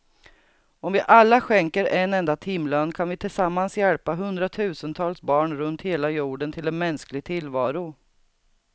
Om vi alla skänker en enda timlön kan vi tillsammans hjälpa hundratusentals barn runt hela jorden till en mänsklig tillvaro.